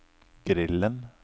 grillen